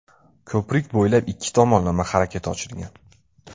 Ko‘prik bo‘ylab ikki tomonlama harakat ochilgan.